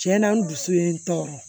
Tiɲɛna n dusu ye n tɔɔrɔ